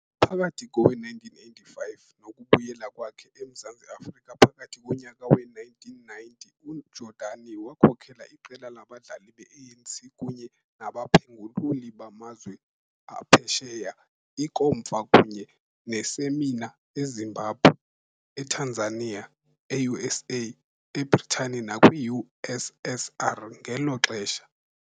Phakathi kowe-1985 nokubuyela kwakhe eMzantsi Afrika phakathi konyaka we-1990, uJordani wakhokela iqela labadlali be-ANC kunye nabaphengululi bamazwe aphesheya iinkomfa kunye neesemina eZimbabwe, eTanzania, e-USA, eBritane nakwi-USSR ngelo xesha.